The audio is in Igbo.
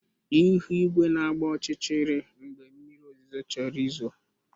Ihu igwe na-agba ọchịchịrị mgbe mmiri ozuzo chọrọ izo